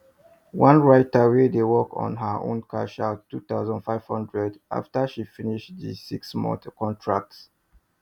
one writter wey dey work on her own cash out 2500 after she finish the six month contract